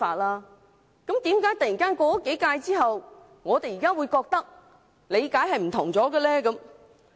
那麼，為何經過數屆之後，我們現在的理解卻突然變得不同了呢？